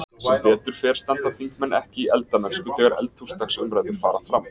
Sem betur fer standa þingmenn ekki í eldamennsku þegar eldhúsdagsumræður fara fram.